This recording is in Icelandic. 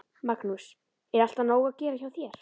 Magnús: Er alltaf nóg að gera hjá þér?